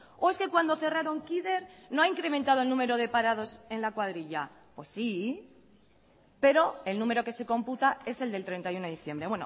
o es que cuando cerraron kider no ha incrementado el número de parados en la cuadrilla pues sí pero el número que se computa es el del treinta y uno de diciembre